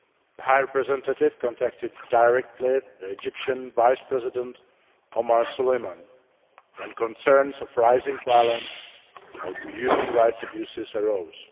The High Representative contacted directly the Egyptian Vice President Omar Suleiman when concerns of rising violence or human rights abuses arose.